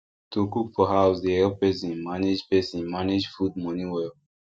to cook for house dey help person manage person manage food money well